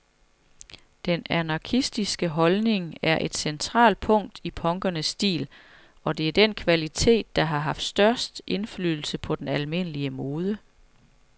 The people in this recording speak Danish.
Den anarkistiske holdning er et centralt punkt i punkernes stil, og det er den kvalitet, der har haft størst indflydelse på den almindelige mode.